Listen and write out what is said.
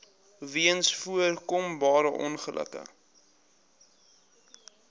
weens voorkombare ongelukke